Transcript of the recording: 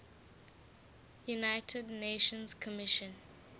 united nations commission